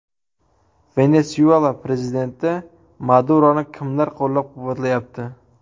Venesuela prezidenti Maduroni kimlar qo‘llab-quvvatlayapti?.